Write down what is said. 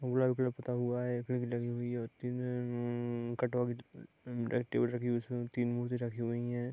पूता हुआ है लगी हुई है | टेबल लगी है उसमे तीन मूर्ति रखी हुई हैं |